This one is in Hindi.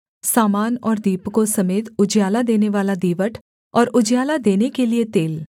सामान और दीपकों समेत उजियाला देनेवाला दीवट और उजियाला देने के लिये तेल